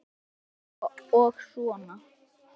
Þetta gekk svona og svona.